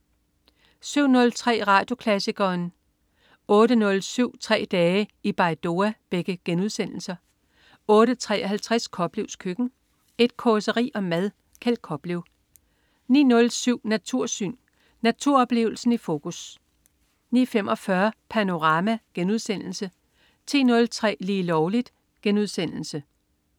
07.03 Radioklassikeren* 08.07 Tre dage i Baidoa* 08.53 Koplevs Køkken. Et causeri om mad. Kjeld Koplev 09.07 Natursyn. Naturoplevelsen i fokus 09.45 Panorama* 10.03 Lige Lovligt*